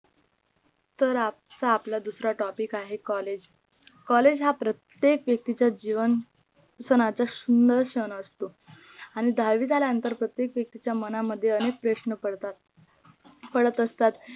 तर आजचा आपला दुसरा topic आहे collage हा प्रत्येक व्यक्तिच्या जीवन स्तरचा सुंदर क्षण असतो आणि दहावी झाल्या नंतर प्रत्येक व्यक्तीच्या मना मध्ये अनेक प्रशन पडतात पडत असतात